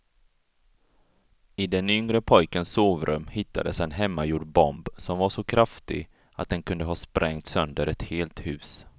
I den yngre pojkens sovrum hittades en hemmagjord bomb som var så kraftig att den kunde ha sprängt sönder ett helt hus.